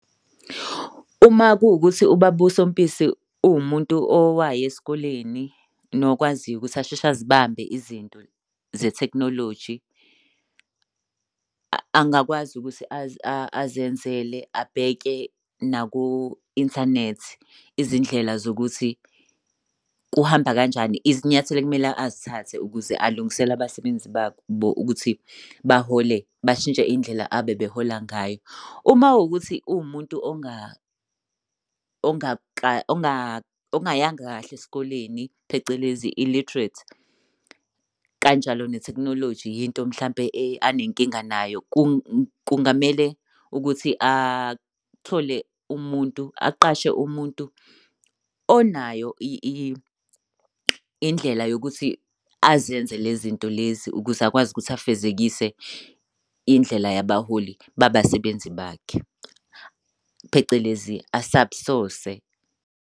Uma kuwukuthi ubaba uSompisi uwumuntu owaya esikoleni, nokwaziyo ukuthi asheshe zibambe izinto zethekhnoloji, angakwazi ukuthi azenzele abheke naku-inthanethi izindlela zokuthi kuhamba kanjani. Izinyathelo ekumele azithathe ukuze alungisele abasebenzi babo ukuthi bahole bashintshe indlela abebehola ngayo. Uma kuwukuthi uwumuntu ongayanga kahle esikoleni, phecelezi illiterate, kanjalo netheknoloji yinto mhlampe anenkinga nayo kungamele ukuthi athole umuntu aqashe umuntu onayo indlela yokuthi azenze le zinto lezi ukuze akwazi ukuthi afezekise indlela yabaholi babasebenzi bakhe, phecelezi a-sub-source-se.